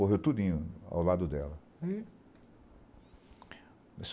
Morreram tudinho ao lado dela. Hm